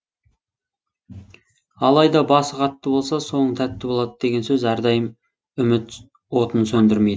алайда басы қатты болса соңы тәтті болады деген сөз әрдайым үміт отын сөндірмейді